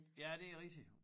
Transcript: Ja det rigtigt